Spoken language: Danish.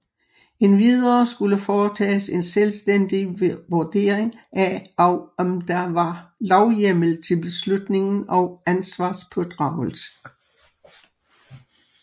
Endvidere skulle foretages en selvstændig vurdering af om der var lovhjemmel til beslutningen og ansvarspådragelse